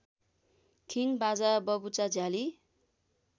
खिङ् बाजा बबुचा झ्याली